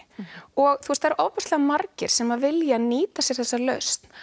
og það eru ofboðslega margir sem vilja nýta sér þessa lausn